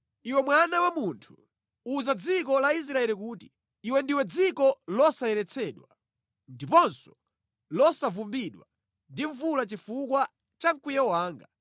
“Iwe mwana wa munthu, uza dziko la Israeli kuti, ‘Iwe ndiwe dziko losayeretsedwa, ndiponso losavumbidwa ndi mvula chifukwa cha mkwiyo wanga.’